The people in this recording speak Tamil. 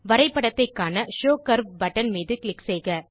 வரைப்படத்தைக் காண ஷோவ் கர்வ் பட்டன் மீது க்ளிக் செய்க